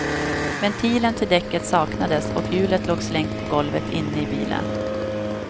Ventilen till däcket saknades och hjulet låg slängt på golvet inne i bilen.